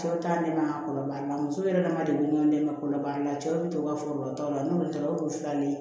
Cɛw ta ne ma kɔlɔnlɔ baara muso yɛrɛ dama de ye n dɛmɛ kɔlɔnba la cɛw be to ka foro ta o la n'olu taara o dugu fila ni